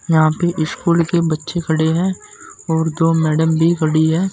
यहां पे स्कूल के बच्चे खड़े है और दो मैडम भी खड़ी है।